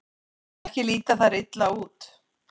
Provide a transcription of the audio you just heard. Ekki líta þær illa út.